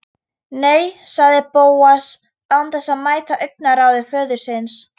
Nei- sagði Bóas án þess að mæta augnaráði föður síns.